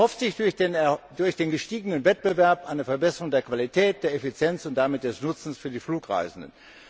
Sie erhofft sich durch den gestiegenen Wettbewerb eine Verbesserung der Qualität, der Effizienz und damit des Nutzens für die Flugreisenden.